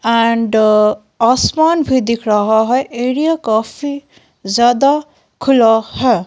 And आसमान भी दिख रहा है एरिया काफी ज्यादा खुला है।